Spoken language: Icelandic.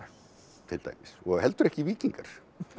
til dæmis og heldur ekki víkingar